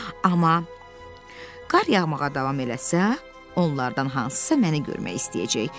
Amma qar yağmağa davam eləsə, onlardan hansısa məni görmək istəyəcək.